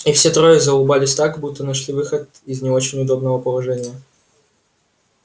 и все трое заулыбались так будто нашли выход из не очень удобного положения